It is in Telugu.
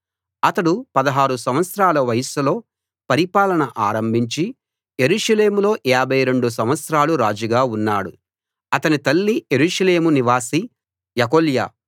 అతడు 16 సంవత్సరాల వయస్సులో పరిపాలన ఆరంభించి యెరూషలేములో 52 సంవత్సరాలు రాజుగా ఉన్నాడు అతని తల్లి యెరూషలేము నివాసి యెకొల్యా